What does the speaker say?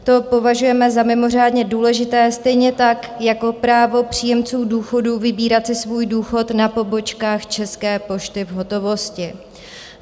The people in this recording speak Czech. To považujeme za mimořádně důležité, stejně tak jako právo příjemců důchodů vybírat si svůj důchod na pobočkách České pošty v hotovosti.